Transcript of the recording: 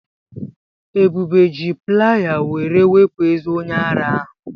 Ebube ji playa were wepụ ezé onye ara ahụ.